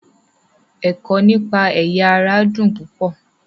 Ẹ̀kọ́ nípa ẹ̀yà-ara dùn púpọ̀.